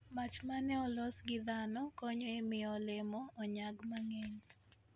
Machi ma ne olos gi dhano konyo e miyo olemo onyag mang'eny.